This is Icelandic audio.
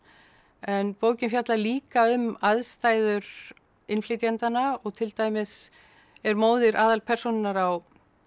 en bókin fjallar líka um aðstæður innflytjendanna og til dæmis er móðir aðalpersónunnar á